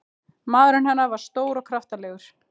Maðurinn hennar var stór og kraftalegur.